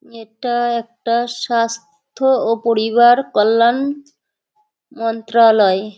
এটা একটা স্বাস্থ্য ও পরিবার কল্যাণ মন্ত্রালয়।